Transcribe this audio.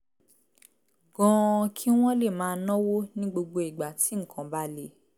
gan-an kí wọ́n lè máa náwó ní gbogbo ìgbà tí nǹkan bá le